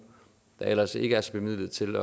der ellers ikke er så bemidlede til